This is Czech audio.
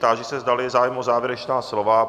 Táži se, zdali je zájem o závěrečná slova?